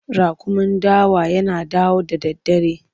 Raƙumin dawa yana yawo da daddare.